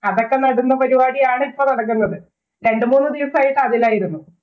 അതൊക്കെ നടുന്ന പരിപാടി ആണ് ഇപ്പം നടക്കുന്നത്. രണ്ടു മൂന്ന് ദിവസമായിട്ട് അതിലായിരുന്നു.